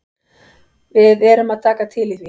Við erum að taka til í því.